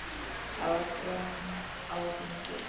Það var þröng á þingi.